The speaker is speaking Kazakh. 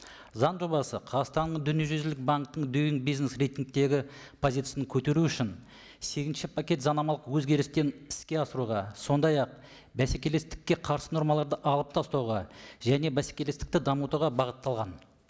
заң жобасы қазақстанның дүниежүзілік банктің бизнес рейтингтегі позицияны көтеру үшін сегізінші пакет заңнамалық өзгерістерін іске асыруға сондай ақ бәсекелестікке қарсы нормаларды алып тастауға және бәсекелестікті дамытуға бағытталған